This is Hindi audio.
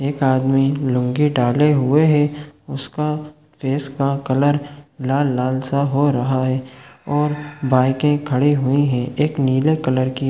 एक आदमी लूँगी डाले हुए है उसका फेस का कलर लाल-लाल- सा हो रहा है और बाइकें खड़े हुए है एक नीले कलर की --